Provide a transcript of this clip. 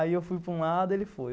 Aí eu fui para um lado, ele foi.